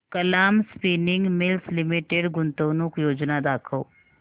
Kalam spinning mills limited गुंतवणूक योजना दाखव